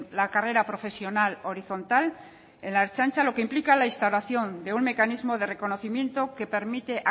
la carrera profesional horizontal en la ertzaintza lo que implica la instalación de un mecanismo de reconocimiento que permite